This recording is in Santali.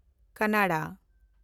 ᱠᱟᱱᱱᱲᱟ